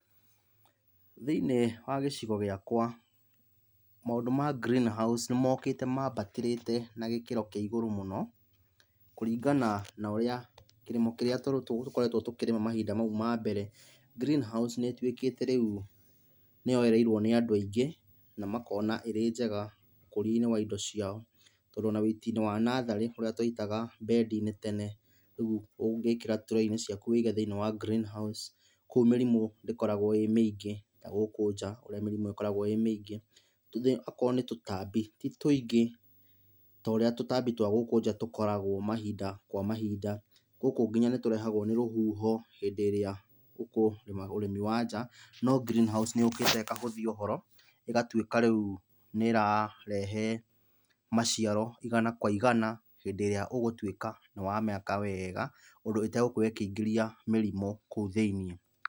Thĩiniĩ wa gĩcigo gĩakwa, maũndũ ma green house nĩmokĩte mambatĩrĩte na gĩkĩro kĩa igũrũ mũno. Kũringana na ũrĩa kĩrĩmo kĩrĩa tũkoretwo tũkĩrĩma mahinda mau ma mbere. Green house nĩtuĩkĩte rĩu nĩyoereirwo nĩ andũ aingĩ, na makona ĩrĩ njega ũkĩria-inĩ wa indo ciao, tondũ ona wĩiti-inĩ wa natharĩ, ũrĩa twaitaga mbendi-inĩ tene, rĩu ũngĩkĩra trey inĩ ciaku wĩige thĩiniĩ wa green house kũu mĩrimũ ndĩkoragũo ĩ mĩingĩ ta gũkũ nja ũrĩa mĩrimũ ĩkoragũo ĩ mĩingĩ. Tũge akorwo nĩ tũtambi, ti twĩingĩ ta ũrĩa tũtambi twa gũkũ nja tũkoragwo mahinda kwa mahinda. Gũkũ nginya nĩtũrehagũo nĩ rũhuho, hĩndĩ-ĩrĩa ũkũrĩma ũrĩmi wa nja, no green house nĩyũkĩte ĩkahũthia ũhoro, ĩgatuĩka rĩu nĩrarehe maciaro igana kwa igana, hĩndĩ-ĩrĩa ũgũtuĩka nĩwamĩaka weega, ũndũ ĩtegũkorwo ĩkĩingĩria mĩrimũ kũu thĩiniĩ.